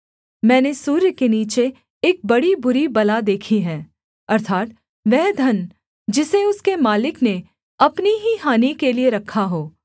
मैंने सूर्य के नीचे एक बड़ी बुरी बला देखी है अर्थात् वह धन जिसे उसके मालिक ने अपनी ही हानि के लिये रखा हो